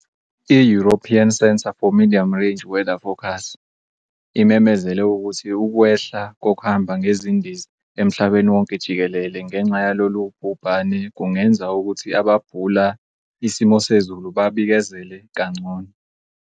I-European Centre for Medium-Range Weather Forecasts imemezele ukuthi ukwehla kokuhamba ngezindiza emhlabeni wonke jikelele ngenxa yalolu bhubhane kungenza ukuthi ababhula isimosezulu babikezele kangcono.